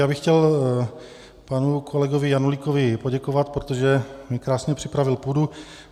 Já bych chtěl panu kolegovi Janulíkovi poděkovat, protože mi krásně připravil půdu.